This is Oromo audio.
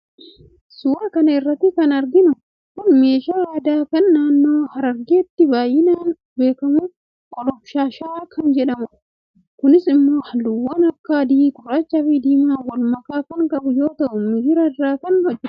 suuraa kana irratti kan arginu kun meeshaa aadaa kan naannoo harargeetti baay'inaan beekamu qolomshaasha kan jedhamudha. kunis immoo halluuwwan akka adii, gurraachaafi diimaan walmakaa kan qabu yoo ta'u migira irraa kan hojjetamudha.